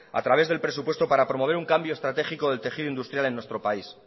a través del presupuesto para promover un cambio estratégico del tejido industrial en nuestro país